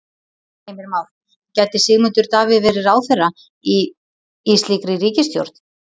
Heimir Már: Gæti Sigmundur Davíð verið ráðherra í, í slíkri ríkisstjórn?